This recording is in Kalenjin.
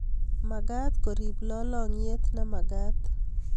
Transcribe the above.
Magat korip lalangiet ne magat